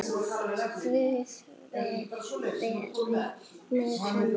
Guð veri með henni.